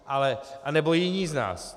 A nebo jiní z nás.